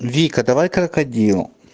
вика давай крокодил